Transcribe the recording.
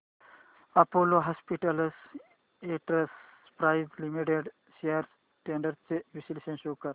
Apollo hospitals enterprise limited shares trends चे विश्लेषण show कर